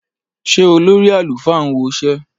Ṣé olórí àlùfáà ń woṣẹ́?